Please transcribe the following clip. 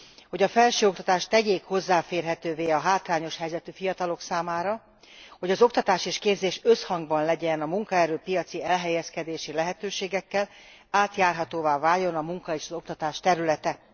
hogy a felsőoktatást tegyék hozzáférhetővé a hátrányos helyzetű fiatalok számára, hogy az oktatás és képzés összhangban legyen a munkaerő piaci elhelyezkedési lehetőségekkel, átjárhatóvá váljon a munka és az oktatás területe.